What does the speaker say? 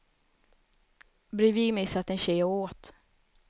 Bredvid mig satt en tjej och åt.